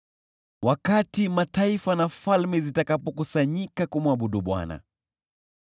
wakati mataifa na falme zitakapokusanyika ili kumwabudu Bwana .